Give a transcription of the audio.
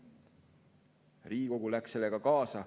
Riigikogu läks sellega kaasa.